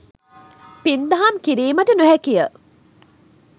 පින් දහම් කිරීමට නොහැකි ය.